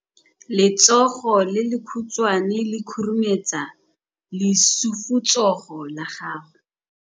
Letsogo le lekhutshwane le khurumetsa lesufutsogo la gago.